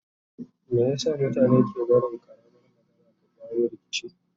Meye sa mutane ke barin ƙaramar magana ta jawo rikici?